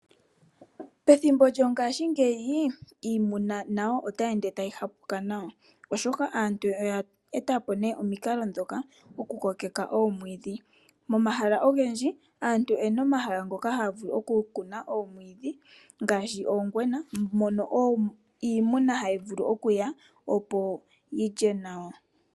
Pethimbo lyongaashingeyi iimuna nayo otayi ende tayi ha puka nawa oshoka aantu oya eta po nee omikalo ndhoka okukokeka omwiidhi. Momahala ogendji aantu oyena omahala ngoka haya vulu okukuna omwiidhi ngaashi ongwena, mono iimuna hayi vulu okuya opo yilye nawa.